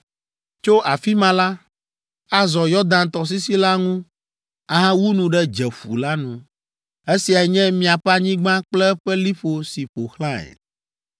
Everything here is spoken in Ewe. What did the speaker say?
Tso afi ma la, azɔ Yɔdan tɔsisi la ŋu ahawu nu ɖe Dzeƒu la nu. “ ‘Esiae nye miaƒe anyigba kple eƒe liƒo si ƒo xlãe.’ ”